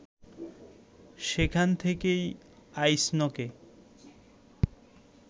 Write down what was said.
সেখান থেকেই আইসনকে